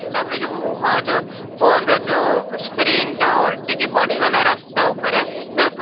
ତ ତା'ପରେ ରାସ୍ତା ଉପରେ ଯୋଉ ମୁହଁ ଯୋଉ phone ରେ ଯୋଉ screen ଟା ଓଲଟି କି ପଡିଗଲା ରାସ୍ତା ଉପରେ ତ ପୁ